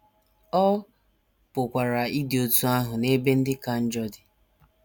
Ọ pụkwara ịdị otú ahụ n’ebe ndị ka njọ dị.